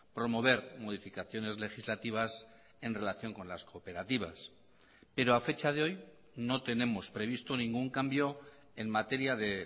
promover modificaciones legislativas en relación con las cooperativas pero a fecha de hoy no tenemos previsto ningún cambio en materia de